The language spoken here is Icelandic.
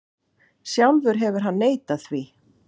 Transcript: Sjálfur hefur hann neitað því.